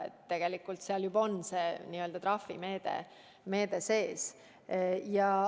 Nii et tegelikult seal juba on see n-ö trahvimeede sees.